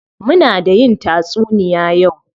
Muna da yin tatsuniya yau.